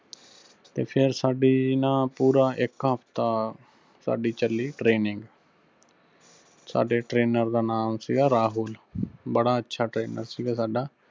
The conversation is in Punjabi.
ਤੇ ਫਿਰ ਸਾਡੀ ਨਾ ਪੂਰਾ ਇੱਕ ਹਫ਼ਤਾ, ਸਾਡੀ ਚੱਲੀ training । ਸਾਡੇ trainer ਦਾ ਨਾਂ ਸਿਗਾ ਰਾਹੁਲ, ਬੜਾ ਅੱਛਾ trainer ਸਿਗਾ ਸਾਡਾ।